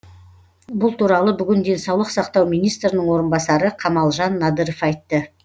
бұл туралы бүгін денсаулық сақтау министрінің орынбасары қамалжан надыров айтты